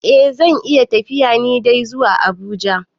Eh zan iya tafiya ni dai zuwa Abuja.